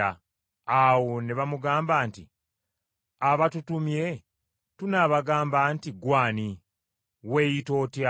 Awo ne bamugamba nti, “Abatutumye tunaabagamba nti, Ggwe ani? Weeyita otya?”